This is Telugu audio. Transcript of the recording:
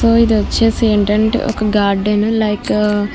ఇదిగో ఇది వచ్చేసి ఏంటంటే ఒక గార్డెన లైక్ --